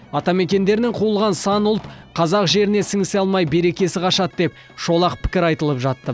атамекендерінен қуылған сан ұлт қазақ жеріне сіңісе алмай берекесі қашады деп шолақ пікір айтылып жатты